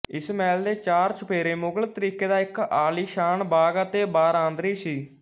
ਇਸ ਮਹਿਲ ਦੇ ਚਾਰ ਚੁਫੇਰੇ ਮੁਗਲ ਤਰੀਕੇ ਦਾ ਇੱਕ ਆਲੀਸ਼ਾਨ ਬਾਗ ਅਤੇ ਬਾਰਾਂਦਰੀ ਸੀ